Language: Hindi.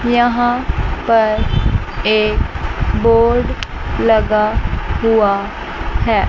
यहां पर एक बोर्ड लगा हुआ है।